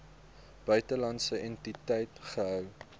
buitelandse entiteit gehou